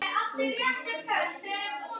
Lögin þín munu lifa áfram.